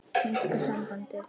Enska sambandið?